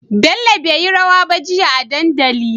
Bello beyi rawa ba jia a dandali